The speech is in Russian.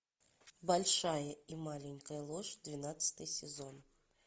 большая и маленькая ложь двенадцатый сезон